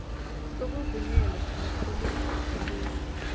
sokuvunyelwa samapholisa esibuya